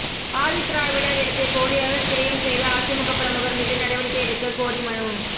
ஆதிதிராவிடர் இடத்தை போலியாக கிரையம் செய்த அதிமுக பிரமுகர் மீது நடவடிக்கை எடுக்க கோரி மனு